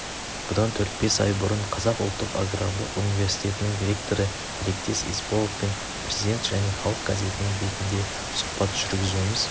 бұдан төрт-бес ай бұрын қазақ ұлттық аграрлық университетінің ректоры тілектес есболовпен президент және халық газетінің бетінде сұхбат жүргізуіміз